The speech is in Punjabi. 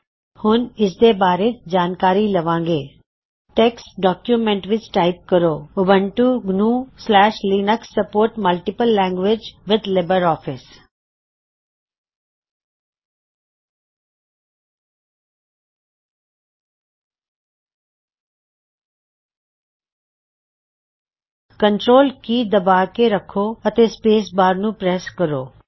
ਅਸੀ ਹੁਣ ਇਸ ਦੇ ਬਾਰੇ ਜਾਨਕਾਰੀ ਲਵਾਂਗੇ ਟੈੱਕਸਟ ਡੌਕਯੂਮੈਂਟ ਵਿੱਚ ਟਾਇਪ ਕਰੋ Ubuntu GNU Linux supports multiple languages with Libre office Ubuntu GNU Linux supports multiple language with LibreOffice control key ਦਬਾ ਕੇ ਰੱਖੋ ਅਤੇ ਸਪੇਸ ਬਾਰ ਨੂੰ ਪ੍ਰੈੱਸ ਕਰੋ